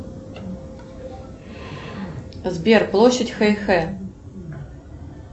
сбер площадь хэйхэ